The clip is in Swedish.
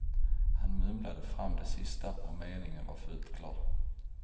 Han mumlade fram det sista och meningen var fullt klar.